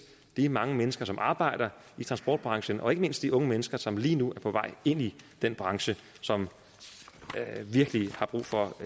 de mange mennesker som arbejder i transportbranchen og ikke mindst de unge mennesker som lige nu er på vej ind i den branche som virkelig har brug for